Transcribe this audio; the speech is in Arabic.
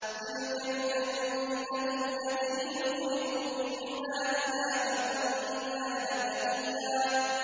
تِلْكَ الْجَنَّةُ الَّتِي نُورِثُ مِنْ عِبَادِنَا مَن كَانَ تَقِيًّا